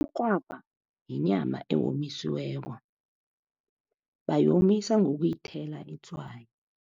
Umrhwabha yinyama eyonyisiweko, bayomisa ngokuyithela itswayi.